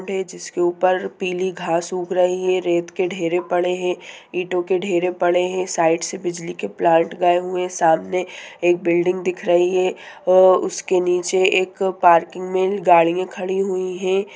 जिसके ऊपर पिली घास ऊग रही है रेत के ढेरे पढ़े हैं ईटो के ढेरे पढ़े है साइड से बिजली के प्लांट गए हुए है सामने एक बिल्डिंग दिख रही है और उसके नीचे एक पार्किंग में गाड़िया खड़ी हुई है।